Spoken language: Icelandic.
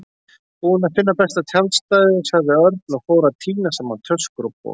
Búinn að finna besta tjaldstæðið sagði Örn og fór að tína saman töskur og poka.